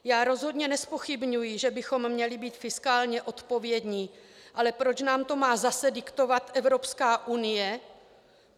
Já rozhodně nezpochybňuji, že bychom měli být fiskálně odpovědní, ale proč nám to má zase diktovat Evropská unie?